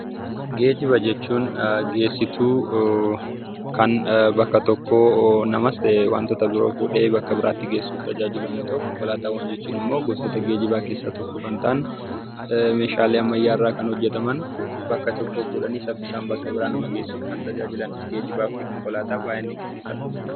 Geejjiba jechuun geessituu kan bakka tokkoo namas ta'ee wantoota biroo fuudhee bakka biraatti geessuuf tajaajilu yommuu ta'u, konkolaataawwan jechuun immoo gosoota geejjibaa keessaa tokko kan ta'an meeshaalee ammayyaa irraa kan hojjataman bakka tokkorraa fuudhanii saffisaan bakka biraa nama geessan geejjibaa fi konkolaataa baay'een dinqisiifadha.